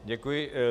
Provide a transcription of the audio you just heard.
Děkuji.